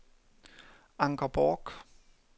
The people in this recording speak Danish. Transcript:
Anker Bork